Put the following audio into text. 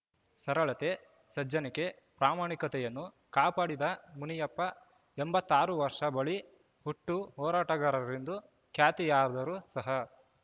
ಸರಳತೆ ಸಜ್ಜನಿಕೆ ಪ್ರಾಮಾಣಿಕತೆಯನ್ನು ಕಾಪಾಡಿದ ಮುನಿಯಪ್ಪ ಎಂಬತ್ತ್ ಆರು ವರ್ಷ ಬಾಳಿ ಹುಟ್ಟು ಹೋರಾಟಗಾರರೆಂದು ಖ್ಯಾತಿಯಾದರೂ ಸಹ